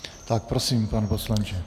Tak prosím, pane poslanče.